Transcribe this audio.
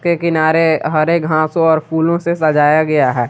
के किनारे हरे घासों और फूलों से सजाया गया है।